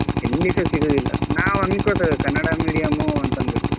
ಎಲ್ಲಿಸಾ ಸಿಗುವುದಿಲ್ಲ ನಾವ್ ಅನ್ಕೋತೇವೆ ಕನ್ನಡ medium ಅಂತಂದ್ಬಿಟ್ಟು.